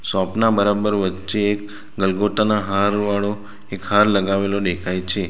Shop ના બરાબર વચ્ચે ગલગોટા ના હાર વાળો એક હાર લગાવેલો દેખાય છે.